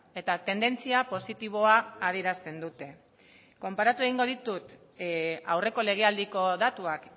eta tendentzia positiboa adierazten dute konparatu egingo ditut aurreko legealdiko datuak